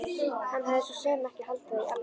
Hann hafði svo sem ekki haldið það í alvöru.